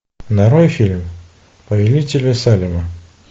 нарой фильм повелители салема